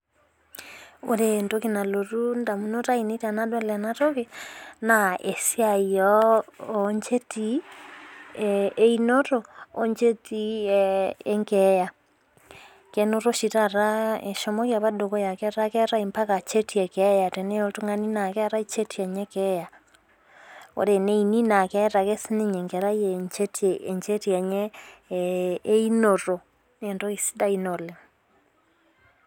Ore entoki nalotu idamunot ainei tenadol ena tiki naa esiai oo ncheti ee into oo nchetii ee enkeya. Kenoto oshi taata eshomoki apa dukuya keeta keetai mpaka ncheti ee keeta teneye oltung'ani naa keetai cheti enye ee keyau. Ore tene uni naa keeta ake sii ninye enkerai ee ncheti enye ee into naa entoki siadai ina oleng'.